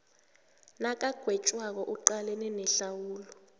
nakagwetjwako aqalane nehlawulo